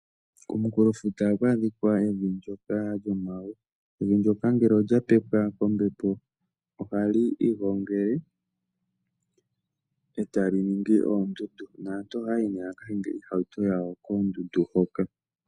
Komunkulofuta ohaku adhika evi ndyoka lyomawe. Evi ndyoka ngele olya pepwa kombepo ohali igongele e tali ningi oondundu. Naantu ohaya yi nee ya ka hinge oohauto dhawo koondundu hoka.